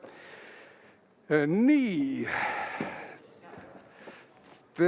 Tere, Juku!